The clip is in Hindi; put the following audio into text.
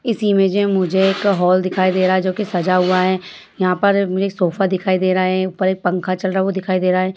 इस इमेज में मुझे एक हॉल दिखाई दे रहा है जो कि सजा हुआ है। यहाँ पर मुझे एक सोफा दिखाई दे रहा है ऊपर एक पंखा चल रहा वो दिखाई दे रहा है।